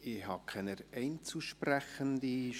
Ich habe keine Einzelsprechenden auf der Liste.